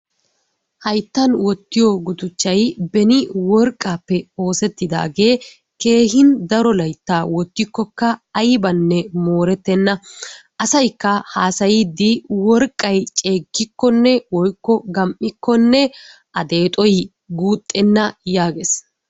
Hayttanni wotriyo guduchay beeni worqqappe oseetidagge kehhi daro laytta wotikokaa aybanne morettenna, assyikka hasayiddi worqqau cegikkonne woyko gamikonne aa xexxo guxenna yaggees.